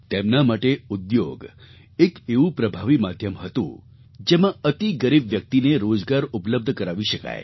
તેમના માટે ઉદ્યોગ એક એવું પ્રભાવી માધ્યમ હતું જેમાં અતિ ગરીબ વ્યક્તિને રોજગાર ઉપલબ્ધ કરાવી શકાય